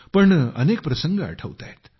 पण अनेक प्रसंग आठवत आहेत